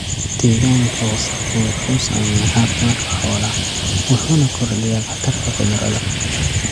Deegaanka wasakhdu wuxuu saameeyaa caafimaadka xoolaha, wuxuuna kordhiyaa khatarta cudurrada.